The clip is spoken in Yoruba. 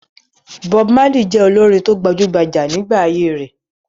Bob Marley jẹ́ olórin tó gbajú-gbajà nígbà ayé rẹ̀.